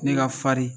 Ne ka farin